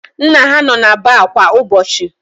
Nna ha nọ na baar kwa ụbọchị.